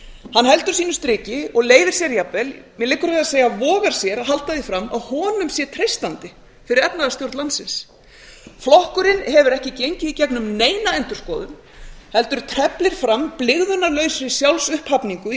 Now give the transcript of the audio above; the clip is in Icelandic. hann heldur sínu striki og leyfir sér jafnvel mér liggur við að segja vogar sér að halda því fram að honum sé treystandi fyrir efnahagsstjórn landsins flokkurinn hefur ekki gengið í gegnum neina endurskoðun heldur teflir fram blygðunarlausri sjálfsupphafningu